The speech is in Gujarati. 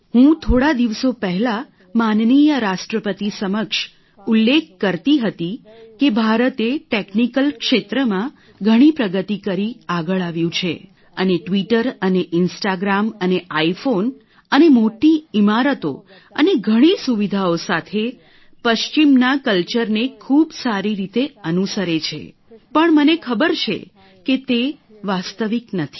હું થોડા દિવસો પહેલા માનનીય રાષ્ટ્રપતિ સમક્ષ ઉલ્લેખ કરતી હતી કે ભારતે ટેકનિકલ ક્ષેત્રમાં ઘણી પ્રગતિ કરી આગળ આવ્યું છે અને ટ્વિટર અને ઇન્સ્ટાગ્રામ અને આઇફોન અને મોટી ઇમારતો અને ઘણી સુવિધાઓ સાથે પશ્ચિમના કલ્ચરને ખૂબ જ સારી રીતે અનુસરે છે પણ મને ખબર છે કે તે વાસ્તવિક નથી